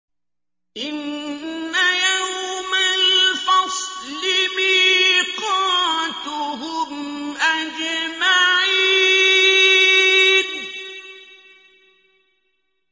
إِنَّ يَوْمَ الْفَصْلِ مِيقَاتُهُمْ أَجْمَعِينَ